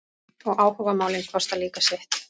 Og áhugamálin kosta líka sitt.